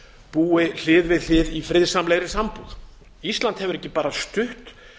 búi hlið við hlið í friðsamlegri sambúð ísland hefur ekki bara stutt